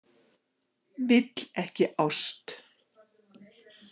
Vill ekki ást.